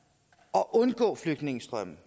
at undgå flygtningestrømme